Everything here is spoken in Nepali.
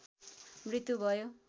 मृत्यु भयो।